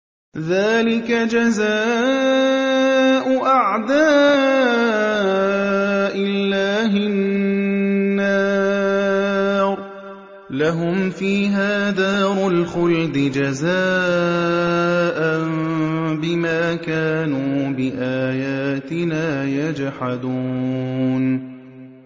ذَٰلِكَ جَزَاءُ أَعْدَاءِ اللَّهِ النَّارُ ۖ لَهُمْ فِيهَا دَارُ الْخُلْدِ ۖ جَزَاءً بِمَا كَانُوا بِآيَاتِنَا يَجْحَدُونَ